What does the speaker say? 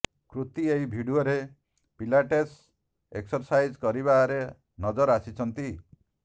କୃତି ଏହି ଭିଡିଓରେ pilates exercise କରିବାର ନଜର ଆସିଛନ୍ତି